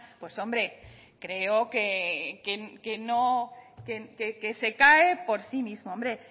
pues hombre creo que no que se cae por sí mismo hombre